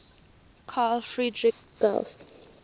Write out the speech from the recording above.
carl friedrich gauss